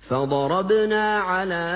فَضَرَبْنَا عَلَىٰ